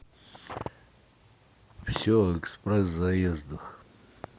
все о экспресс заездах